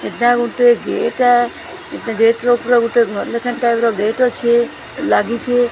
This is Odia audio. ଏଟା ଗୋଟେ ଗେଟା ଗେଟ ଉପରେ ଗୋଟେ ଘର ଲେଖା ଟାଇପ ର ଗେଟ ଅଛି ଲାଗିଛି।